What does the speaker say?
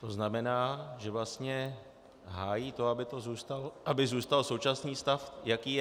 To znamená, že vlastně hájí to, aby zůstal současný stav, jaký je.